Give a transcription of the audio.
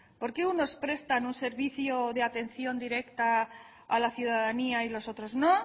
porque unos prestan un servicio de atención directa a la ciudadanía y los otros no